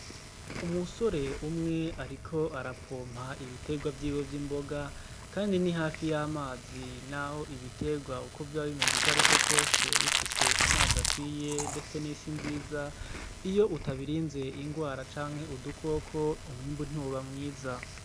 Umusore umwe ariko arapompa ibitegwa vyiwe vy' imboga kandi ni hafi y' amazi naho ibitegwa vyoba bimeze ukwariko kwose bifise amazi akwiye ndetse n' isi nziza iyo utabirinze ingwara canke udukoko umwimbu ntiwoba mwiza.